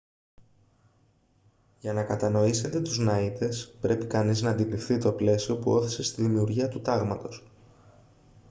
για να κατανοήσετε τους ναΐτες πρέπει κανείς να αντιληφθεί το πλαίσιο που ώθησε στη δημιουργία του τάγματος